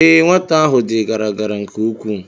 Ee, nwata ahụ dị gara gara nke ukwuu